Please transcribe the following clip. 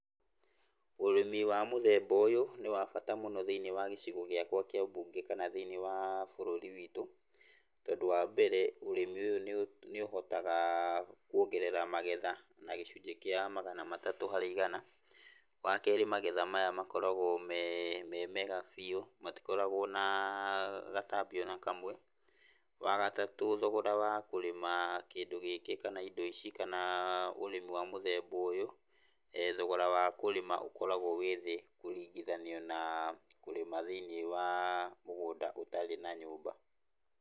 Ũrĩmi wa mũthemba ũyũ nĩ wabata mũno thĩ~inĩ wa gĩcigo gĩakwa kĩa ũmbunge kana thĩ~inĩ wa bũrũri witũ tondũ wa mbere ũrĩmi ũyũ nĩ ũhotaga kuongerera magetha na gĩcũnjĩ kĩa Magana matatũ harĩ igana. Wakerĩ magetha maya makoragwo memega biũ, matikaroragwo na gatabi ona kamwe. Wa gatatũ thogora wa kũrĩma kĩndũ gĩkĩ kana indo ici kana ũrĩmi wa mũthemba ũyũ thogora wakũrĩma ũkoragwo wĩ thĩ kũringithaniyo na kũrĩma thĩ~inĩ wa mũgũnda ũtarĩ na nyũmba.